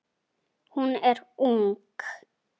Hún er ung.